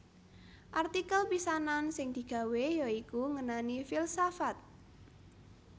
Artikel pisanan sing digawé ya iku ngenani filsafat